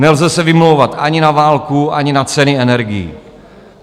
Nelze se vymlouvat ani na válku, ani na ceny energií.